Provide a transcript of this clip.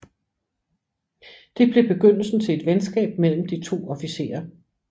Det blev begyndelsen til et venskab mellem de to officerer